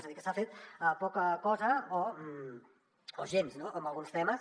és a dir que s’ha fet poca cosa o gens en alguns temes